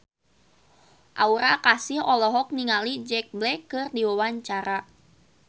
Aura Kasih olohok ningali Jack Black keur diwawancara